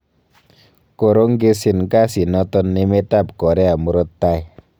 Koorongesin kasit noton emet ab Korea murto taai.